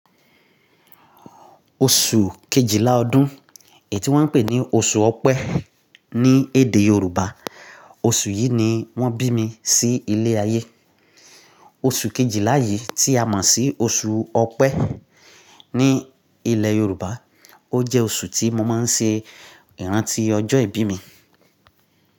Oṣù kejìlá ọdún èyití wọ́n ń pè ní oṣù Ọ̀pẹ ní èdè Yoruba, oṣù yìí ni wón bí mi sí ilé ayé. Oṣù kejìlá yìí tí a mọ̀ sí oṣù Ọ̀pẹ ní ilẹ̀ Yoruba, ó jẹ́ oṣù tí mo máa ń ṣe ìrántí ọjọ́ ìbí mi.